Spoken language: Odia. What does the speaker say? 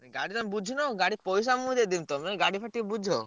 ଗାଡି ତମେ ବୁଝୁନ। ଗାଡି ପଇସା ମୁଁ ଦେଇଦେବି ତମେ ଗାଡି ଫାଡି ଟିକେ ବୁଝ।